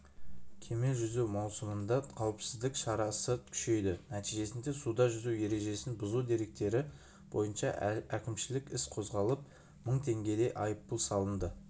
кеме жүзу маусымында қауіпсіздік шарасы күшейді нәтижесінде суда жүзу ережесін бұзу деректері бойынша әкімшілік іс қозғалып мың теңгедей айыппұл салынды